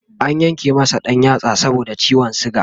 an Yanke masa ɗan yatsa saboda ciwon suga